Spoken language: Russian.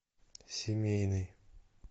семейный